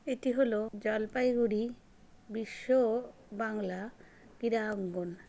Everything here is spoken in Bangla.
এটি হল জলপাইগুড়ি বিশ্ব বাংলা ক্রীড়াঙ্গন।